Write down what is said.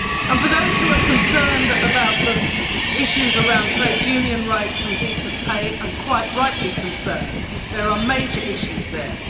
For those who are concerned about the issues around trade union rights and decent pay and quite rightly concerned there are major issues there.